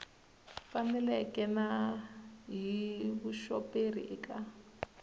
faneleke na hi vuxoperi eka